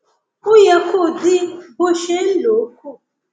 ó yẹ kó dín bó ṣe ń lò ó kù